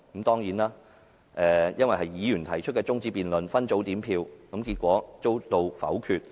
當然，由於那是議員提出的中止待續議案，分組點票後最終遭到否決。